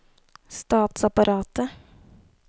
statsapparatet